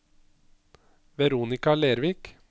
Veronika Lervik